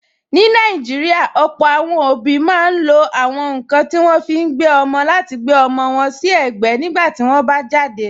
Ní Nàìjíríà, ọ̀pọ̀ àwọn òbí máa ń lo àwọn nkan tí wọ́n fi ń gbé ọmọ láti gbe ọmọ wọn si egbe nígbà tí wọ́n bá jáde.